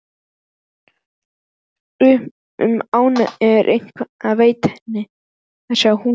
Um ánægjuna sem það veitti henni að sjá húsið.